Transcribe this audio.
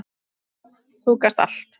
Þú gast allt.